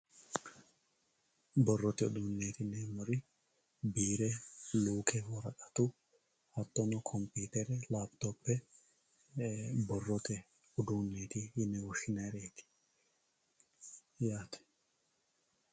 borrote uduunneeeti yineemmori biire luuke hatto hattonni computer lapitope kuri borrote uduunneeti yine woshshinayreeti yaate